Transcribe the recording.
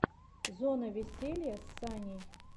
зона веселья с саней